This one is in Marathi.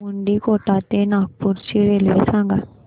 मुंडीकोटा ते नागपूर ची रेल्वे सांगा